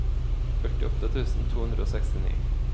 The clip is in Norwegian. førtiåtte tusen to hundre og sekstini